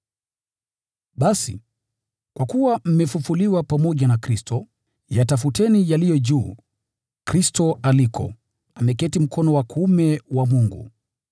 Basi, kwa kuwa mmefufuliwa pamoja na Kristo, yatafuteni yaliyo juu, Kristo alikoketi mkono wa kuume wa Mungu.